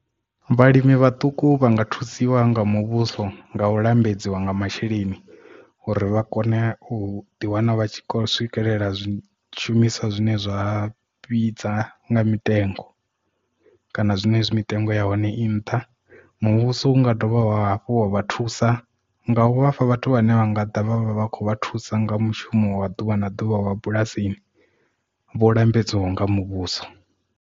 Vhalimi vhaṱuku vha nga thusiwa nga muvhuso nga u lambedziwa nga masheleni uri vha kone u ḓiwana vha tshi swikelela zwishumiswa zwine zwa vhidza nga mitengo kana zwine zwi mitengo ya hone i nṱha muvhuso unga dovha hafhu wa vha thusa nga u vhafha vhathu vhane vha nga ḓa vhavha vha khou vha thusa nga mushumo wa ḓuvha na ḓuvha wa bulasini vho lambedziwaho nga muvhuso.